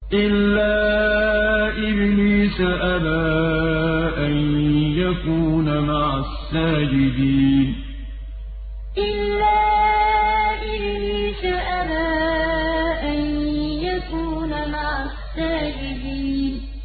إِلَّا إِبْلِيسَ أَبَىٰ أَن يَكُونَ مَعَ السَّاجِدِينَ إِلَّا إِبْلِيسَ أَبَىٰ أَن يَكُونَ مَعَ السَّاجِدِينَ